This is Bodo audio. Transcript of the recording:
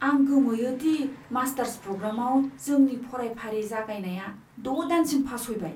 आं गोमोयो दि मास्टार्स प्र'ग्रामाव जोंनि फरायफारि जागायनाया द' दानसिम फावसयबाय।